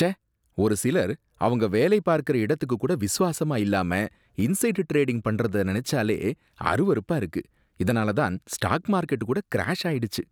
ச்சே! ஒரு சிலர் அவங்க வேலை பார்க்கற இடத்துக்கு கூட விசுவாசமா இல்லாம இன்சைடு டிரேடிங் பண்றத நினைச்சாலே அருவருப்பா இருக்கு, இதனால தான் ஸ்டாக் மார்கெட் கூட கிராஷ் ஆயிடுச்சு